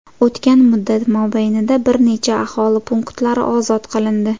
O‘tgan muddat mobaynida bir necha aholi punktlari ozod qilindi.